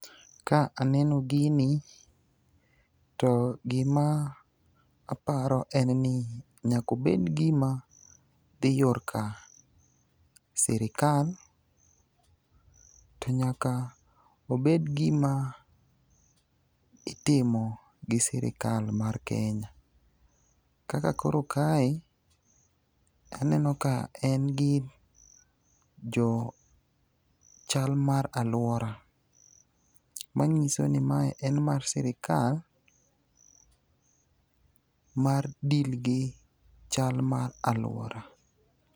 Ka aneno gini to gima aparo en ni nyakobed gima dhi yor ka sirikal, to nyaka obed gima itimo gi sirikal mar Kenya. Kaka koro kae, aneno ka en gi jo chal mar alwora. Manyiso ni mae en mar sirikal ,mar deal gi chal mar alwora.